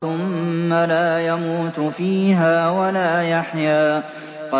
ثُمَّ لَا يَمُوتُ فِيهَا وَلَا يَحْيَىٰ